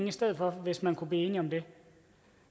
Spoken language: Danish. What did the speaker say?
i stedet for hvis man kunne blive enige om det